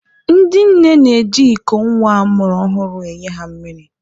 Ndị nne na-eji iko nwa a mụrụ ọhụrụ enye ha mmiri.